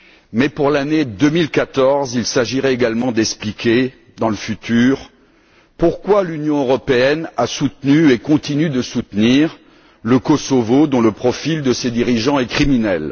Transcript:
Mais pour l'année 2014, il s'agirait également d'expliquer, dans le futur, pourquoi l'Union européenne a soutenu et continue de soutenir le Kosovo, dont le profil des dirigeants est criminel.